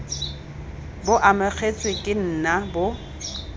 bo amogetswe ke nna bo